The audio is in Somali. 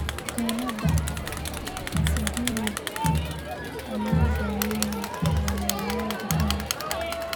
Bukaannada si guul leh loo daweeyay ayaa la bixiyay.